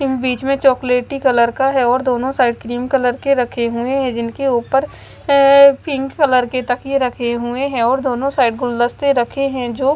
बीच में chocolaty colour का है और दोनों साइड क्रीम कलर के रखे हुए हैं जिनके ऊपर अह पिंक कलर के तकिए रखे हुए हैं और दोनों साइड गुलदस्ते रखे हैं जो--